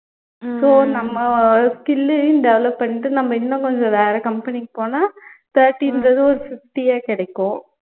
so நம்ம skill அயும் develop பண்ணிட்டு நம்ம இன்னும் கொஞ்சம் வேற company க்கு போனா thirty plus ஒரு fifty ஏ கிடைக்கும்